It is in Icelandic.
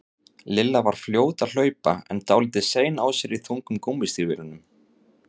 Lilla var fljót að hlaupa en dálítið sein á sér í þungum gúmmístígvélunum.